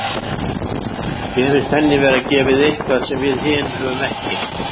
Mér finnst henni vera gefið eitthvað sem við hin höfum ekki.